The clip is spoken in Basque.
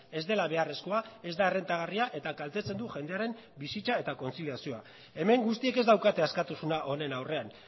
ez dela beharrezkoa ez da errentagarria eta kaltetzen du jendearen bizitza eta kontziliazioa hemen guztiek ez daukate askatasuna honen aurrean